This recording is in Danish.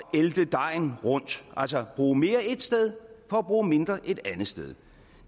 ælte dejen rundt altså bruge mere et sted for at bruge mindre et andet sted